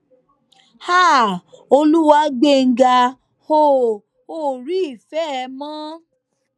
háà olùwágbèǹga o ò rí ìfẹ ẹ mọ